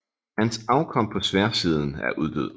Hans afkom på sværdsiden er uddød